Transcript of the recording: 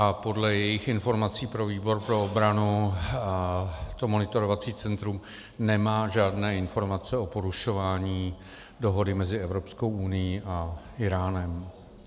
A podle jejích informací pro výbor pro obranu to monitorovací centrum nemá žádné informace o porušování dohody mezi Evropskou unií a Íránem.